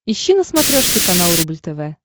ищи на смотрешке канал рубль тв